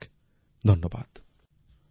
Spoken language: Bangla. অনেক অনেক ধন্যবাদ